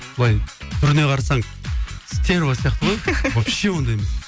былай түріне қарасаң стерва сияқты ғой вообще ондай емес